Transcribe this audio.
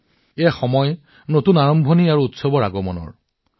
আৰু এয়া নতুন আৰম্ভণি আৰু নতুন উৎসৱৰ আগমনৰ সময়